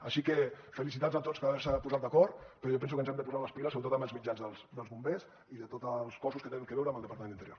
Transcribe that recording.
així que felicitats a tots per haver se posat d’acord però jo penso que ens hem de posar les piles sobretot amb els mitjans dels bombers i de tots els cossos que tenen a veure amb el departament d’interior